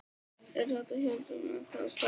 Eru þetta hjól sem eru ennþá að selja?